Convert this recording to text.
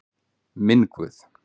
Minn Guð.